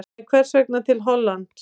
En hvers vegna til Hollands?